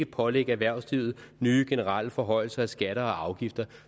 pålægge erhvervslivet nye generelle forhøjelser af skatter og afgifter